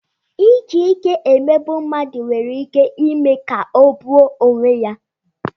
Iji ike emegbu mmadụ nwere ike ime ka ọ gbuo onwe ya.